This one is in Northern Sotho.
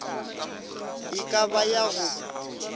e ka ba ya go